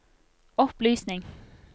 opplysning